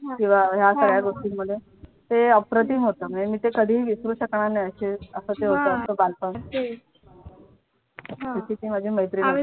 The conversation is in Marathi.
किंवा या सगळ्या गोष्टींमध्ये ते अप्रतिम होतं आणि मी ते कधीही विसरू शकणार नाही अशे असं ते होतं बालपण अशी ती माझी मैत्रीण होती.